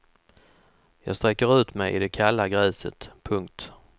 Jag sträcker ut mig i det kalla gräset. punkt